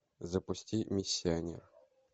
запусти миссионер